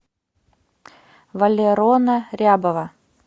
валерона рябова